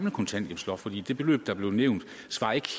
at kontanthjælpsloftet